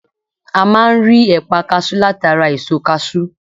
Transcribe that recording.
A máa n rí ẹ̀pà kasú látara èso kasú